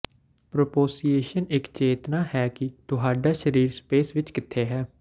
ਪ੍ਰੋਪ੍ਰੋਸੀਏਸ਼ਨ ਇੱਕ ਚੇਤਨਾ ਹੈ ਕਿ ਤੁਹਾਡਾ ਸਰੀਰ ਸਪੇਸ ਵਿੱਚ ਕਿੱਥੇ ਹੈ